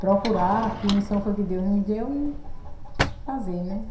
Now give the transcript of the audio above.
Procurar que missão foi que Deus me deu e fazer, né?